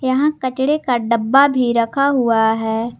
यहां कचरे का डब्बा भी रखा हुआ है।